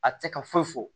A tɛ se ka foyi fɔ